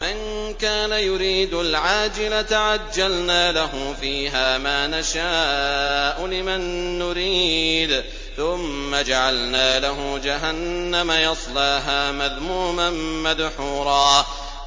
مَّن كَانَ يُرِيدُ الْعَاجِلَةَ عَجَّلْنَا لَهُ فِيهَا مَا نَشَاءُ لِمَن نُّرِيدُ ثُمَّ جَعَلْنَا لَهُ جَهَنَّمَ يَصْلَاهَا مَذْمُومًا مَّدْحُورًا